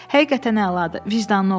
Həqiqətən əladır, vicdanlı oğlandır.